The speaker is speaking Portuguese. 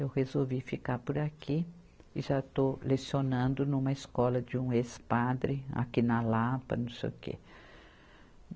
Eu resolvi ficar por aqui e já estou lecionando numa escola de um ex-padre, aqui na Lapa, não sei o quê.